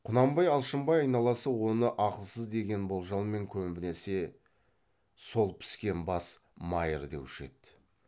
құнанбай алшынбай айналасы оны ақылсыз деген болжалмен көбінесе сол піскен бас майыр деуші еді